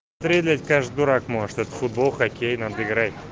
трейлер каждый дурак может это футбол-хоккей надо играть